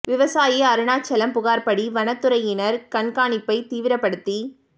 விவசாயி அருணாசலம் புகார்படி வனத்துறையினர் கண்காணிப்பை தீவிரபடுத்தி